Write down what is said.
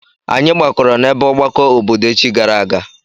Anyị gbakọrọ n'ebe ọgbakọ obodo echi gara aga.